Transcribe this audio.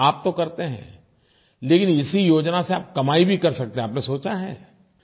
आप तो करते हैं लेकिन इसी योजना से आप कमाई भी कर सकते हैं आपने सोचा है